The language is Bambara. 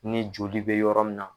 Ni joli bɛ yɔrɔ min na